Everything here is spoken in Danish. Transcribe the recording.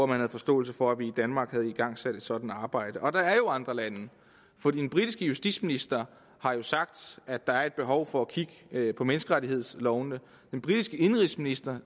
der havde forståelse for at vi i danmark havde igangsat et sådant arbejde og der er jo andre lande for den britiske justitsminister har jo sagt at der er et behov for at kigge på menneskerettighedslovene den britiske indenrigsminister